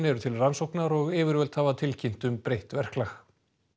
eru til rannsóknar og yfirvöld hafa tilkynnt um breytt verklag